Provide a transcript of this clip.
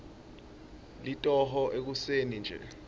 litoho ekuseni nje